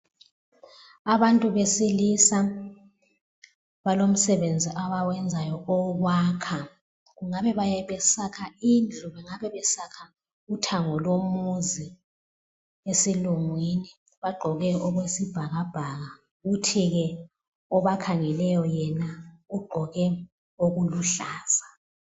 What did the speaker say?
Abantu besilisa balomsebenzi abawenzayo owokwakha. Kungabe besakha indlu kungabe besakha uthango lomuzi esilungwini, bagqoke okwesibhakabhaka kuthi ke obakhangeleyo yena ugqoke okuluhlaza.